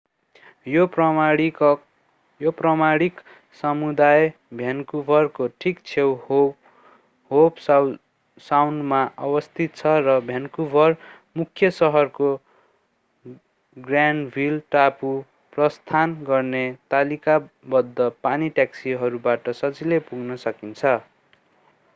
यो प्रमाणिक समुदाय भ्यानकुभरको ठीक छेउ होव साउन्डमा अवस्थित छ र भ्यानकुभर मुख्य शहरको ग्रानभिल टापु प्रस्थान गर्ने तालिकाबद्ध पानी ट्याक्सीहरूबाट सजिलै पुग्न सकिन्छ